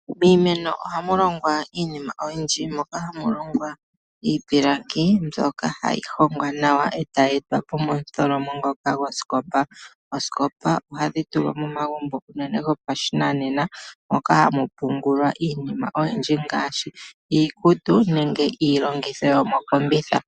Miimeno ohamu longwa iinima oyindji moka hamu longwa iipilangi mbyoka hayi hongwa nawa e tayi etwa po momutholomo ngoka gwosikopa. Oosikopa ohadhi tulwa momagumbo unene gopashinanena moka hamu pungulwa iinima oyindji ngaashi iikutu nenge iilongitho yomokombitha.